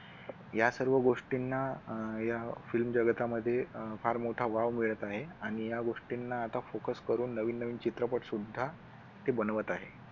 या सर्व गोष्टींना या film जगतामध्ये अह फार मोठा वाव मिळत आहे आणि या गोष्टींना आता focus करून नवीन नवीन चित्रपट सुद्धा ते बनवत आहे.